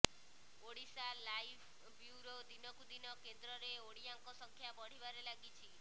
Odisha live bureau ଦିନକୁ ଦିନ କେନ୍ଦ୍ରରେ ଓଡ଼ିଆଙ୍କ ସଂଖ୍ୟା ବଢ଼ିବାରେ ଲାଗିଛି